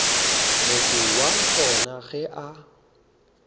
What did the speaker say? motho wa gona ge a